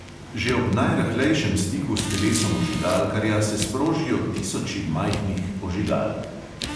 Že ob najrahlejšem stiku s telesom ožigalkarja se sprožijo tisoči majhnih ožigalk.